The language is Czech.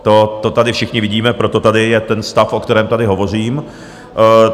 To tady všichni vidíme, proto tady je ten stav, o kterém tady hovořím.